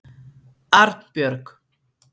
Arnbjörg